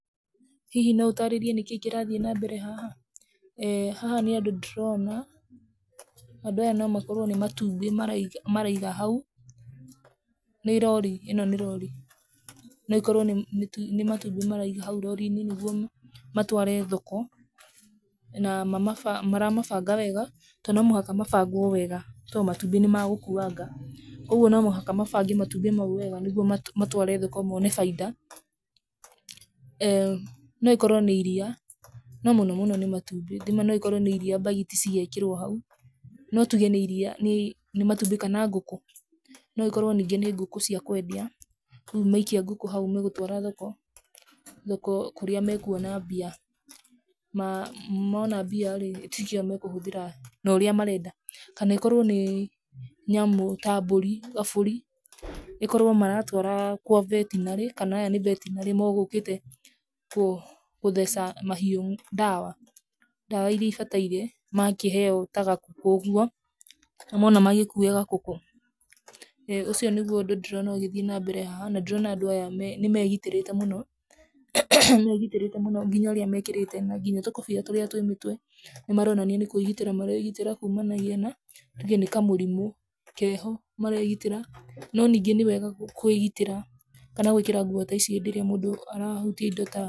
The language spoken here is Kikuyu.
Hihi no ũtaarĩrie nĩkĩĩ kĩrathiĩ na mbere haha? eeh haha nĩ andũ ndĩrona, andũ aya nomakorwo nĩmatumbĩ maraiga maraiga hau, nĩ rori, ĩno nĩ rori, nokorwo nĩ nĩ matumbĩ maraiga hau rori-inĩ nĩguo matware thoko, na mamaba maramabanga wega to nomũhaka mabangwo wega, to matumbĩ nĩmagũkuanga, ũguo nomũhaka mabange matumbĩ mau wega, nĩguo ma matware thoko mone bainda, eeh nokorwo nĩ iria, no mũno mũno nĩ matumbĩ, thima noũkore nĩ iria mbagiti cigĩkĩrwo hau, no tuge nĩ iria, nĩ matumbĩ kana ngũkũ, noĩkorwo ningĩ nĩ ngũkũ cia kwendia, rĩu maikia ngũkũ hau magũtwara thoko, ngũkũ cia kwendia, rĩu maikia ngũkũ hau megũtwara thoko, thoko kũrĩa mekuona mbia, na mona mbia rĩ, ĩti cio mekũhũthĩra norĩa marenda, kanokorwo nĩ, nĩamu ta mbũri, gabũri, ĩkorwo maratwara kwa vetinarĩ kana aya nĩ vetinarĩ megũkĩte kũ theca mahiũ ndawa, ndawa iria ibataire, makĩheo ta gakũkũ ũguo, nĩwona magĩkua gakũkũ, eeh ũcio nĩguo ũndũ ndírona ũgĩthiĩ nambere haha na ndĩrona andũ aya me nĩmegitĩrĩte mũno, nĩmegitĩrĩte mũno nginya ũrĩa mekĩrĩte nanginya tũkobia tũrĩa twĩ mĩtwe, nĩmaronania nĩ kwĩgitĩra maregitĩra kumanagia na, tuge nĩ kamũrimũ keho, maregitĩra, no ningĩ nĩ wega kwĩgitĩra kana gwĩkĩra nguo ta ici hĩndĩ ĩrĩa mũndũ arahutia indo ta.